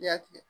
I y'a tigɛ